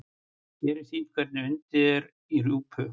Hér er sýnt hvernig undið er í rjúpu.